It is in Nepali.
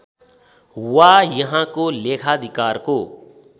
वा यहाँको लेखाधिकारको